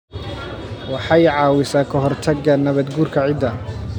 waxay caawisaa ka hortagga nabaad-guurka ciidda.